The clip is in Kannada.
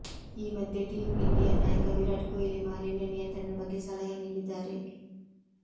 ಈ ಮಧ್ಯೆ ಟೀಂ ಇಂಡಿಯಾ ನಾಯಕ ವಿರಾಟ್ ಕೊಹ್ಲಿ ಮಾಲಿನ್ಯ ನಿಯಂತ್ರಣದ ಬಗ್ಗೆ ಸಲಹೆ ನೀಡಿದ್ದಾರೆ